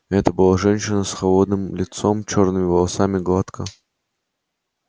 это была женщина с холодным лицом чёрными волосами гладко